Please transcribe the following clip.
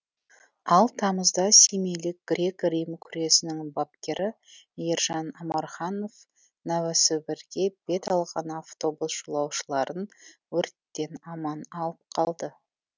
ал тамызда семейлік грек рим күресінің бапкері ержан амарханов новосібірге бет алған автобус жолаушыларын өрттен аман алып қалды